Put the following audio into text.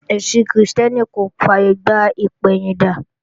Ẹ̀sìn Krìstẹ́nì kò fàyègbà ìpẹ̀yìndà